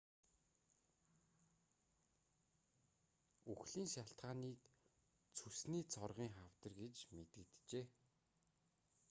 үхлийн шалтгааныг цөсний цоргын хавдар гэж мэдэгджээ